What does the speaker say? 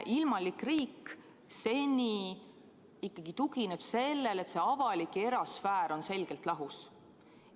Ilmalik riik on seni ikkagi tuginenud sellele, et avalik ja erasfäär on selgelt lahus.